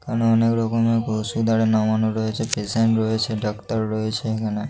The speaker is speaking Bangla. এখানে অনেক রকমের ওষুধ আরে নামানো রয়েছে। পেশেন্ট রয়েছে ডাক্তার রয়েছে এখানে।